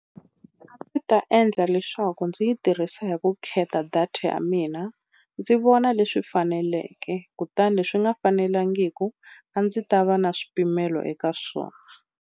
A ndzi ta endla leswaku ndzi yi tirhisa hi vukheta data ya mina ndzi vona leswi faneleke kutani leswi nga fanelangiku a ndzi ta va na swipimelo eka swona.